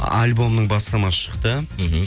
альбомның бастамасы шықты мхм